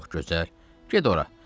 "Çox gözəl, get ora.